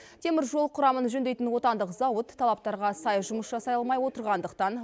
теміржол құрамын жөндейтін отандық зауыт талаптарға сай жұмыс жасай алмай отырғандықтан